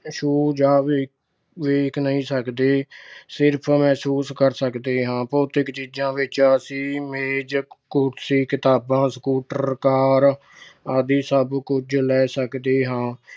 ਛੂ ਜਾਂ ਵੇਖ ਅਹ ਨਹੀਂ ਸਕਦੇ। ਸਿਰਫ ਮਹਿਸੂਸ ਕਰ ਸਕਦੇ ਹਾਂ। ਭੌਤਿਕ ਚੀਜਾਂ ਵਿੱਚ ਅਸੀਂ ਮੇਜ਼, ਕੁਰਸੀ, ਕਿਤਾਬਾਂ, scooter, car ਆਦਿ ਸਭ ਕੁਝ ਲੈ ਸਕਦੇ ਹਾਂ।